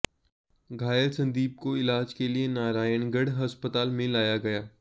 घायल संदीप को इलाज के लिए नारायणगढ़ अस्पताल में लाया गया